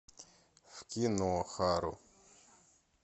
вкино хару